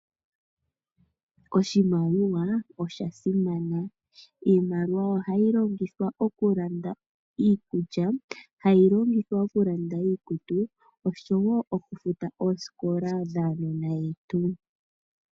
Oshimaliwa osha simana. Iimaliwa ohayi longithwa okulanda iikulya, hayi longithwa okulanda iikutu oshowo okufuta oosikola dhaanona yetu.